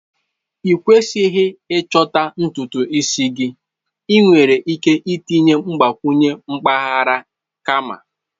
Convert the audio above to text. Ịkwesighi ịchọta ntutu isi gị, ị nwere ike itinye mgbakwunye mpaghara kama.